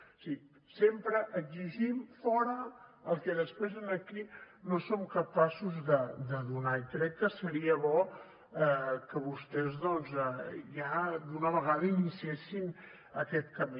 o sigui sempre exigim fora el que després aquí no som capaços de donar i crec que seria bo que vostès doncs ja d’una vegada iniciessin aquest camí